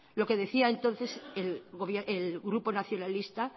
lo que decía entonces el grupo nacionalista